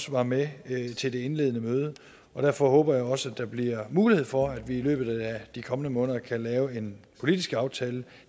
var med til det indledende møde derfor håber jeg også at der bliver mulighed for at vi i løbet af de kommende måneder kan lave en politisk aftale